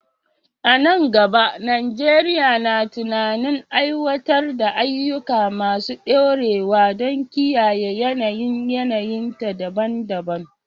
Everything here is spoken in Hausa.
A nan gaba, Najeriya na tunanin aiwatar da ayyuka masu dorewa don kiyaye yanayin yanayinta daban-daban.